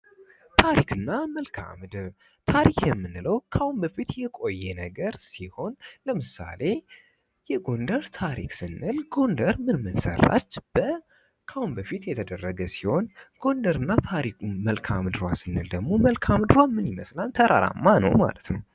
ታሪክ እና መልክዓ ምድር ታሪክ የምንለው ከአሁን በፊት የቆየ ነገር ሲሆን ለምሳሌ የጎንደር ታሪክ ስንል ጎንደር ምን ምንሰራች በ ካሁን በፊት የተደረገ ሲሆን ጎንደር እና መልካምድሯ ስንል ደግሞ መልክአ ምድር ምን ይመስላል ተራራማ ነው ማለት ነው።